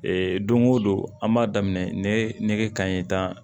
Ee don go don an b'a daminɛ ne kan ye tan